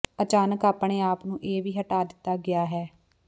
ਅਚਾਨਕ ਆਪਣੇ ਆਪ ਨੂੰ ਇਹ ਵੀ ਹਟਾ ਦਿੱਤਾ ਗਿਆ ਹੈ